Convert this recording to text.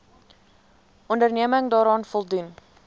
onderneming daaraan voldoen